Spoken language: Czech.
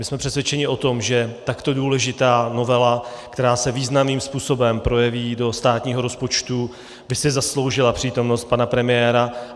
My jsme přesvědčeni o tom, že takto důležitá novela, která se významným způsobem projeví do státního rozpočtu, by si zasloužila přítomnost pana premiéra.